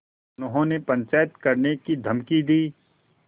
उन्होंने पंचायत करने की धमकी दी